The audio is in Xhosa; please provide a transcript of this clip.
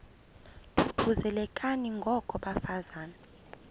thuthuzelekani ngoko bafazana